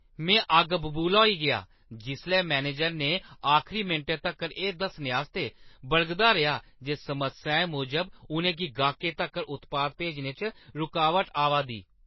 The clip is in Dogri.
में अग्गबबूला होई गेआ जिसलै मैनेजर ने आखरी मिंटै तक्कर एह् दस्सने आस्तै बलगदा रेहा जे समस्याएं मूजब उʼनें गी गाह्कै तक्कर उत्पाद भेजने च रकावट आवा दी।